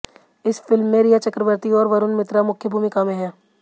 इस फिल्म में रिया चक्रबर्ती और वरुण मित्रा मुख्य भूमिका में हैं